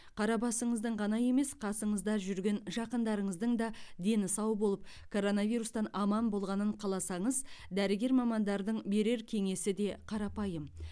қара басыңыздың ғана емес қасыңызды жүрген жақындарыңыздың да дені сау болып коронавирустен аман болғанын қаласаңыз дәрігер мамандардың берер кеңесі де қарапайым